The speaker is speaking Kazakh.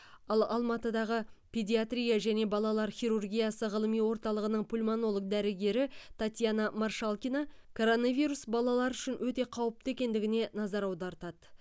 ал алматыдағы педиатрия және балалар хирургиясы ғылыми орталығының пульмонолог дәрігері татьяна маршалкина коронавирус балалар үшін өте қауіпті екендігіне назар аудартады